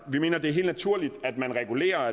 vi mener det er helt naturligt at man regulerer